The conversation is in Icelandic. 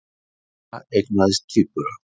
Górilla eignaðist tvíbura